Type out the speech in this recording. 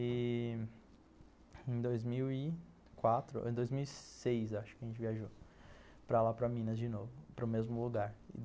E ... Em dois mil e quatro, em dois mil e seis acho que a gente viajou para lá, para Minas de novo, para o mesmo lugar.